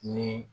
Ni